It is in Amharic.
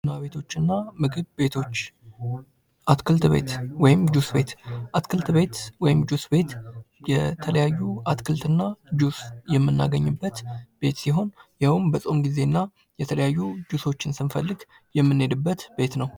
ቡና ቤቶችና ምግብ ቤቶች፤ አትክልት ቤት ወይም ጁስ ቤት፦ አትክልት ቤት ወይም ጂስ ቤት የተለያዩ አትክልትና ጁስ የምናገኝበት ቤት ሲሆን ይሄውም በፆም ጊዜና የተለያዩ ጁሶችን ስንፈልግ የምንሄድበት ቤት ነው።